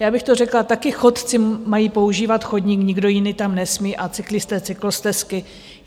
Já bych to řekla, taky chodci mají používat chodník, nikdo jiný tam nesmí, a cyklisté cyklostezky.